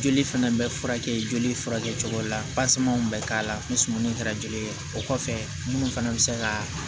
Joli fana bɛ furakɛ joli furakɛ cogo la bɛ k'a la ni suman in kɛra joli ye o kɔfɛ minnu fana bɛ se ka